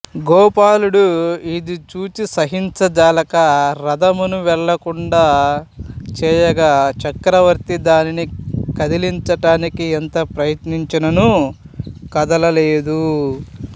గోపాలుడు ఇది జూచి సహించజాలక రధమును వెళ్ళకుండ చేయగా చక్రవర్తి దానిని కదిలించాడానికి ఎంత ప్రయత్నిచినను కదలలేదు